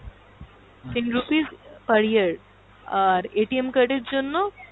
ten rupees per year আর card এর জন্য